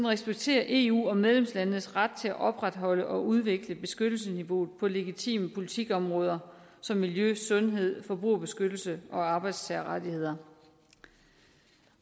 respekterer eu og medlemslandenes ret til at opretholde og udvikle beskyttelsesniveauet på legitime politikområder som miljø sundhed forbrugerbeskyttelse og arbejdstagerrettigheder